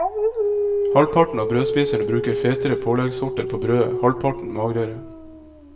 Halvparten av brødspiserne bruker fetere påleggssorter på brødet, halvparten magrere.